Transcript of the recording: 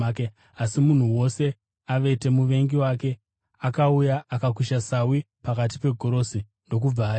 Asi munhu wose avete, muvengi wake akauya akakusha sawi pakati pegorosi, ndokubva aenda.